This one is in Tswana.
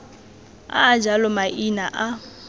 a a jalo maina a